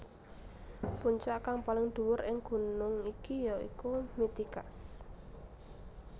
Puncak kang paling dhuwur ing gunung iki ya iku Mitikas